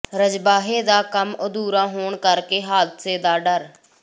ਰਜਬਾਹੇ ਦਾ ਕੰਮ ਅਧੂਰਾ ਹੋਣ ਕਰਕੇ ਹਾਦਸੇ ਦਾ ਡਰ